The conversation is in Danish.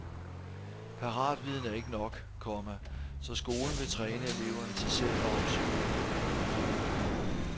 Paratviden er ikke nok, komma så skolen vil træne eleverne til selv at opsøge viden. punktum